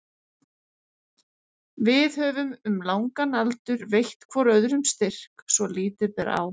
Við höfum um langan aldur veitt hvor öðrum styrk svo lítið ber á.